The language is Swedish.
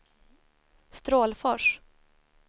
Strålfors